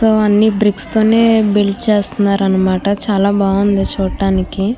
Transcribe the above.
అన్నీ బ్రిక్స్ తోని బిల్డ్ చేస్తున్నారన్నమాట చాలాబావుంది చుటానికి --